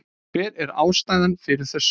Hver er ástæðan fyrir þessu?